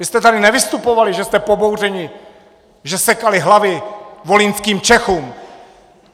Vy jste tady nevystupovali, že jste pobouřeni, že sekali hlavy volyňským Čechům.